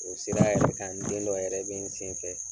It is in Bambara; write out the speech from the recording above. O sira yɛrɛ kan n den dɔ yɛrɛ be n sen fɛ.